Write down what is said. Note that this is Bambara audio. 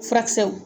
Furakisɛw